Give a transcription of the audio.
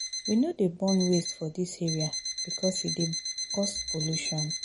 We no dey burn waste for dis area because e dey cause pollution.